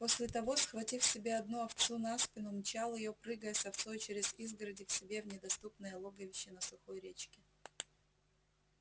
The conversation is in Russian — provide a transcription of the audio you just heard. после того схватив себе одну овцу на спину мчал её прыгая с овцой через изгороди к себе в недоступное логовище на сухой речке